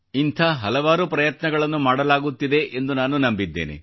ಇಂಥ ಹಲವಾರು ಪ್ರಯತ್ನಗಳು ಮಾಡಲಾಗುತ್ತಿದೆ ಎಂದು ನಾನು ನಂಬಿದ್ದೇನೆ